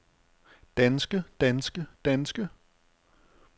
danske danske danske